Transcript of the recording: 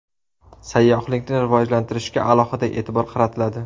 Sayyohlikni rivojlantirishga alohida e’tibor qaratiladi.